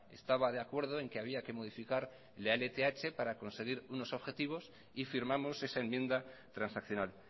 estaba de acuerdo en que había que modificar la lth para conseguir unos objetivos y firmamos esa enmienda transaccional